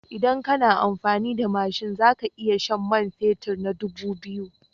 Idan kana amfani da mashin za ka iya shan man fetur na dubu biyu.